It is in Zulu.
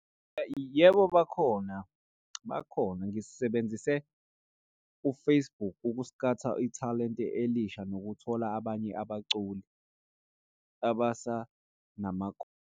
Yebo, bakhona bakhona ngisebenzise u-Facebook ukuskhawutha ithalente elisha nokuthola abanye abaculi .